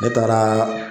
Ne taara